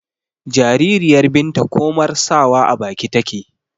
jaririyar binta komar sawa a baki take